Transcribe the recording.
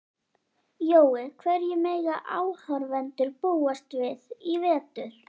Jói, hverju mega áhorfendur búast við í vetur?